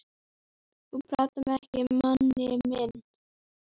Þá höfðu kringumstæðurnar hins vegar verið auðveldari.